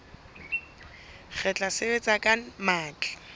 re tla sebetsa ka matla